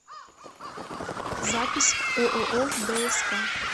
запись ооо дск